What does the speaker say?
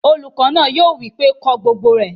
Olùkọ́ náà yóò wí pé "ko gbogbo ẹ!"